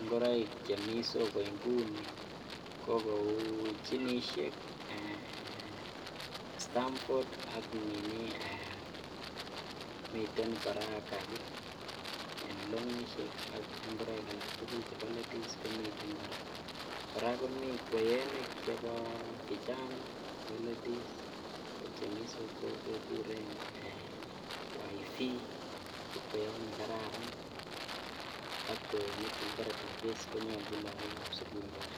ng'oroik chemii soko ng'uni ko kouu jinishek, Stafford ak miten kora kaki en longishek ak ing'oroik alak tukul en chebo ladies komiten kora, kora komii kweyonik chebo vijana chebo ladies ko chemi soko kekuren eeh waifi ko kweyot nekararan k kweyonik chekibore tafis konyolchin lokokab sukul kora.